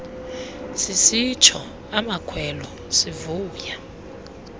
sisitsho amakhwelo sivuya